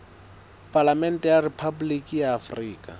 palamente ya rephaboliki ya afrika